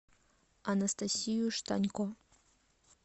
анастасию штанько